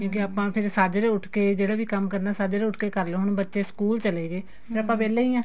ਕਿਉਕਿ ਆਪਾਂ ਫੇਰ ਸਾਜਰੇ ਉਠ ਕੇ ਜਿਹੜਾ ਵੀ ਕੰਮ ਕਰਨਾ ਸਾਜਰੇ ਉਠ ਕੇ ਕਰਲੋ ਹੁਣ ਬੱਚੇ school ਚਲੇ ਗਏ ਫ਼ੇਰ ਆਪਾਂ ਵਿਹਲੇ ਈ ਆ